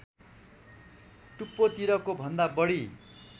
टुप्पोतिरको भन्दा बढी